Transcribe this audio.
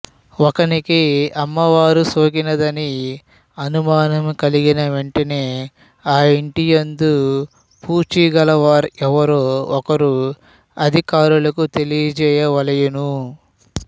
ఒకనికి అమ్మవారు సోకినదని అనుమానము కలిగిన వెంటనే ఆయింటి యందు పూచీగల వారెవ్వరో ఒకరు అధికారులకు తెలియ జేయవలయును